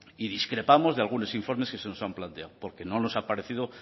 y discrepamos de algunos informes que se nos han planteado porque no nos ha parecido